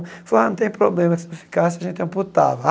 Falou, ah, não tem problema, se ficasse a gente amputava.